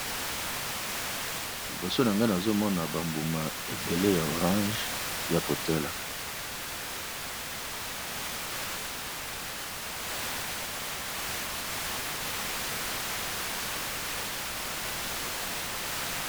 Liboso na ngai nazomona bambuma ebele ya orange ya kotela.